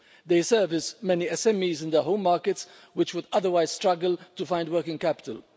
They service many SMEs in their home markets which would otherwise struggle to find working capital.